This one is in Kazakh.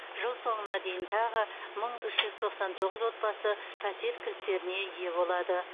жыл соңына дейін тағы мың үш жүз тоқсан тоғыз отбасы пәтер кілттеріне ие болады